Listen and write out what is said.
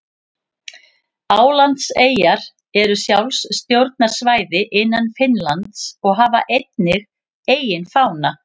Álandseyjar eru sjálfstjórnarsvæði innan Finnlands og hafa einnig eigin fána.